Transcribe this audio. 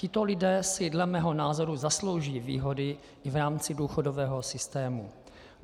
Tito lidé si dle mého názoru zaslouží výhody i v rámci důchodového systému.